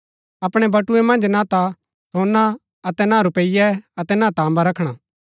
अपणै बटुए मन्ज ना ता सोना अतै ना रूपियें अतै ना तांबा रखणा